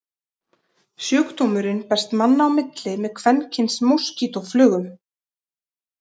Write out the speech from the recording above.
Sjúkdómurinn berst manna á milli með kvenkyns moskítóflugum.